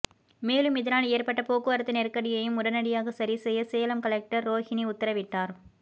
மேலும் இதனால் ஏற்பட்ட போக்குவரத்து நெருக்கடியையும் உடனடியாக சரிசெய்ய சேலம் கலெக்டர் ரோஹினி உத்தரவிட்டார்